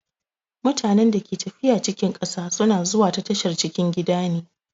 Mutanen da ke tafiya cikin ƙasa sun a zuwa ta tashar cikin gida ne.